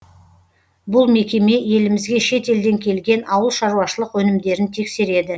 бұл мекеме елімізге шет елден келген ауыл шаруашылық өнімдерін тексереді